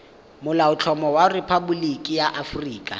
molaotlhomo wa rephaboliki ya aforika